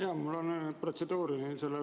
Jaa, mul on protseduuriline.